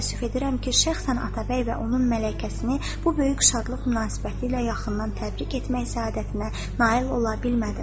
Çox təəssüf edirəm ki, şəxsən Atabəy və onun mələkəsini bu böyük şadlıq münasibəti ilə yaxından təbrik etmək səadətinə nail ola bilmədim.